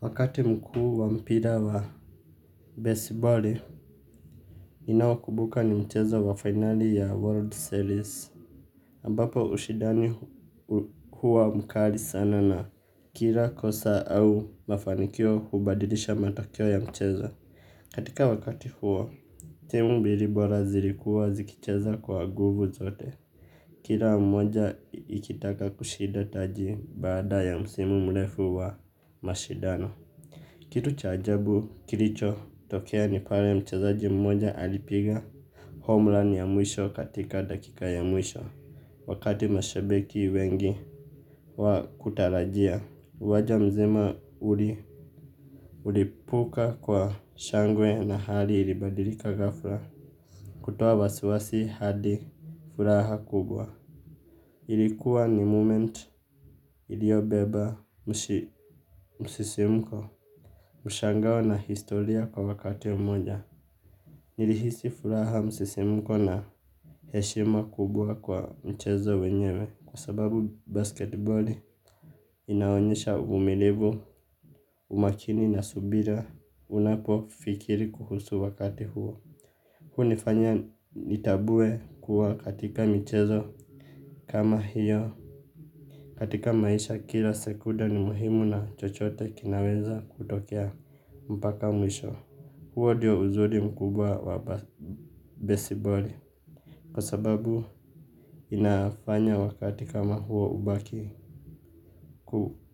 Wakati mkuu wa mpira wa besiboli, ninaokumbuka ni mchezo wa finali ya World Series. Ambapo ushindani huwa mkali sana na kila kosa au mafanikio hubadilisha matokeo ya mchezo. Katika wakati huo, timu mbili bora zilikuwa zikicheza kwa nguvu zote. Kila mmoja ikitaka kushida taji baada ya msimu mrefu wa mashindano. Kitu cha ajabu kilichotokea ni pale mchezaji mmoja alipiga homeland ya mwisho katika dakika ya mwisho. Wakati mashabiki wengi hawakutarajia uwanja mzima ulilipuka kwa shangwe na hali ilibadilika ghafla. Kutoa wasiwasi hadi furaha kubwa. Ilikuwa ni moment iliyobeba msisimuko. Mshangao na historia kwa wakati mmoja. Nilihisi furaha, msisimuko na heshima kubwa kwa mchezo wenyewe kwa sababu basketboli inaonyesha uvumilivu, umakini na subira unapofikiri kuhusu wakati huo. Hunifanya nitambue kuwa katika michezo kama hiyo katika maisha kila sekunde ni muhimu na chochote kinaweza kutokea mpaka mwisho. Huo ndio uzuri mkubwa wa besiboli kwa sababu inafanya wakati kama huo ubaki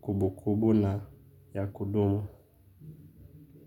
kumbukumbu na ya kudumu.